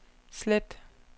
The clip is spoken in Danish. slet